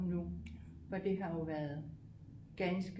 For det har jo været ganske